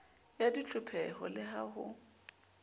ya ditlhopheho le ha ho